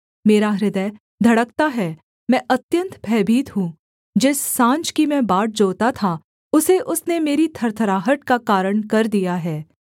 मेरा हृदय धड़कता है मैं अत्यन्त भयभीत हूँ जिस साँझ की मैं बाट जोहता था उसे उसने मेरी थरथराहट का कारण कर दिया है